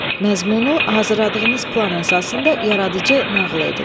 Məzmunu hazırladığınız plan əsasında yaradıcı nağıl edin.